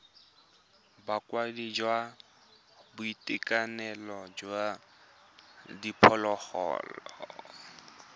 bokaedi jwa boitekanelo jwa diphologolo